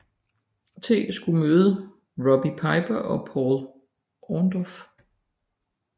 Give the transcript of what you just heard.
T skulle møde Roddy Piper og Paul Orndorff